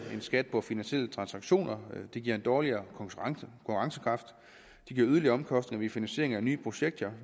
skat på finansielle transaktioner det giver en dårligere konkurrencekraft det giver yderligere omkostninger ved finansiering af nye projekter